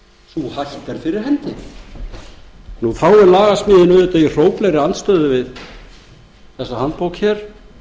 sú hætta er fyrir hendi þá er lagasmíðin auðvitað í hróplegri andstöðu við þessa handbók hér